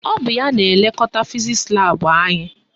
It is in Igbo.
Ọ bụ ya na-elekọta fizisi laabụ anyị.